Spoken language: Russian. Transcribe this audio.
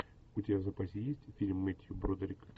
у тебя в запасе есть фильм мэттью бродерик